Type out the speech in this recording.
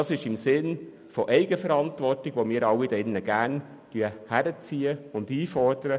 Das ist im Sinne der Eigenverantwortung, welche wir alle gerne einfordern.